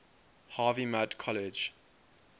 harvey mudd college